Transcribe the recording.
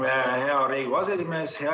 Aitüma, hea Riigikogu aseesimees!